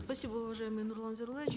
спасибо уважаемый нурлан зайроллаевич